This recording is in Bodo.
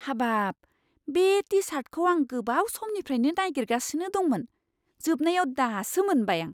हाबाब! बे टि सार्टखौ आं गोबाव समनिफ्रायनो नागिरगासिनो दंमोन। जोबनायाव, दासो मोनबाय आं!